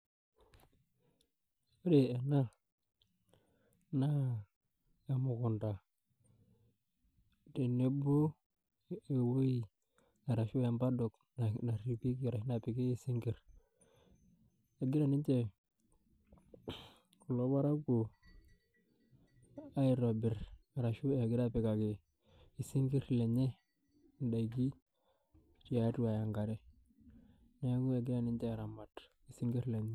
Ore ena naa emukunda tenebo ewoi ashu e paddock napiki sinkir, egira nche kulo parakuo aitobir ashu egira apikaki kulo sinkir lenye ndaikin tiatua enkare, neaku egira ninche aramat sinkir lenye.